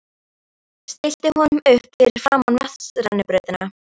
Stillti honum upp fyrir framan vatnsrennibrautina.